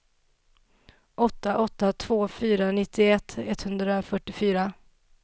åtta åtta två fyra nittioett etthundrafyrtiofyra